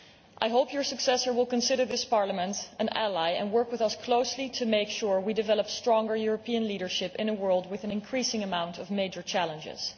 I hope her successor will consider this Parliament an ally and work with us closely to make sure we develop stronger European leadership in a world with an increasing amount of major challenges.